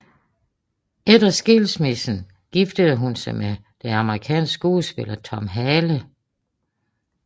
Efter skilsmissen giftede hun sig med den amerikanske skuespiller Tom Hale